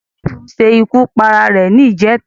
Lateef ṣe ikú pa ara rẹ̀ ní ìjẹta